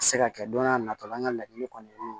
Se ka kɛ don n'a nataw la an ka laɲini kɔni